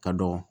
Ka dɔgɔ